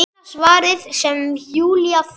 Eina svarið sem Júlía fékk.